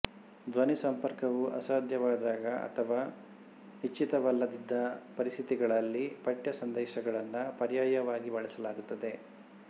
ಧ್ವನಿ ಸಂಪರ್ಕವು ಅಸಾಧ್ಯವಾದಾಗ ಅಥವಾ ಇಚ್ಛಿತವಲ್ಲದಿದ್ದ ಪರಿಸ್ಥಿತಿಗಳಲ್ಲಿ ಪಠ್ಯ ಸಂದೇಶಗಳನ್ನು ಪರ್ಯಾಯವಾಗಿ ಬಳಸಲಾಗುತ್ತದೆ